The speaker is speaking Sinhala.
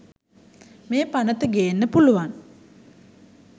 මේ පනත ගේන්න පුලුවන්